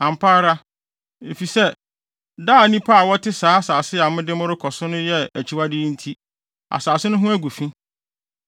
Ampa ara, efisɛ daa nnipa a wɔte saa asase a mede mo rekɔ so no so yɛ saa akyiwade yi nti, asase no ho agu fi.